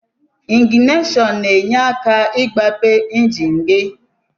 Ingnasion na enye aka igbape enjin gi.